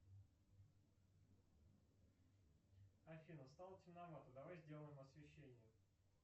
афина стало темновато давай сделаем освещение